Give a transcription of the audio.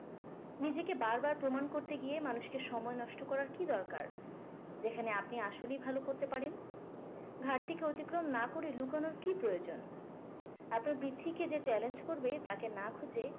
নিজেকে বারবার প্রমাণ করতে গিয়ে মানুষকে সময় নষ্ট করার কি দরকার। যেখানে আপনি আসলেই ভালো করতে পারেন। অতিক্রম না করে লুকানোর কি প্রয়োজন। যে challenge করবে তাকে না খুঁজে,